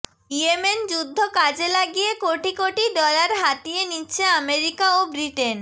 Yemen যুদ্ধ কাজে লাগিয়ে কোটি কোটি ডলার হাতিয়ে নিচ্ছে আমেরিকা ও ব্রিটেন